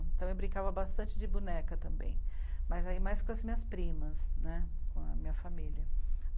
Então eu brincava bastante de boneca também, mas aí mais com as minhas primas, né, com a minha família.